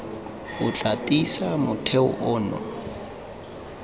o tla tiisa motheo ono